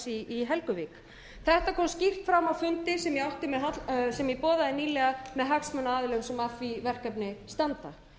í helguvík þetta kom skýrt fram á fundi sem ég boðaði nýlega með hagsmunaaðilum sem að því verkefni standa